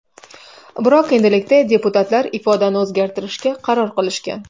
Biroq endilikda deputatlar ifodani o‘zgartirishga qaror qilishgan.